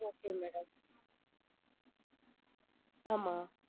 Okay madam ஆமா